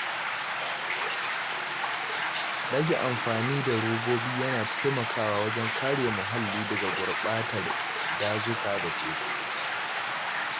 Rage amfani da robobi yana taimakawa wajen kare muhalli daga gurbatar dazuka da teku.